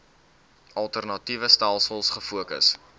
alternatiewe stelsels gefokus